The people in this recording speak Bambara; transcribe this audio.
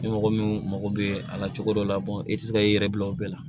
Ni mɔgɔ min mako bɛ a la cogo dɔ la i tɛ se k'i yɛrɛ bila o bɛɛ la